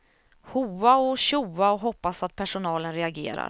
Hoa och tjoa och hoppas att personalen reagerar.